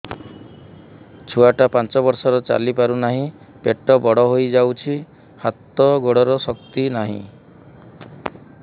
ଛୁଆଟା ପାଞ୍ଚ ବର୍ଷର ଚାଲି ପାରୁନାହଁ ପେଟ ବଡ ହୋଇ ଯାଉଛି ହାତ ଗୋଡ଼ର ଶକ୍ତି ନାହିଁ